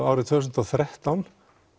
árið tvö þúsund og þrettán